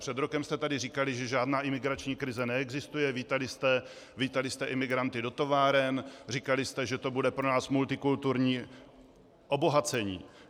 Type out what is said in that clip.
Před rokem jste tady říkali, že žádná imigrační krize neexistuje, vítali jste imigranty do továren, říkali jste, že to bude pro nás multikulturní obohacení.